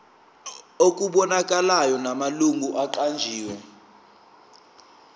okubonakalayo namalungu aqanjiwe